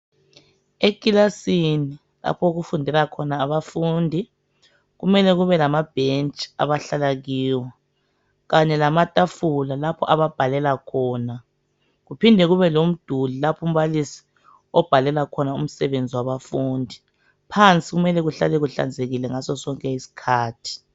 Ekilasini lapho okufundela khona abafundi .Kumele kube lamabhentshi abahlala kiwo, kanye lamatafula lapho ababhalela khona. Kuphinde kube lomduli laphumbalisi obhalela khona umsebenzi wabafundi .Phansi kumele kuhlale kuhlanzekile ngaso sonke isikhathi.